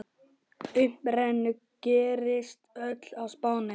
Uppruni gerist öll á Spáni.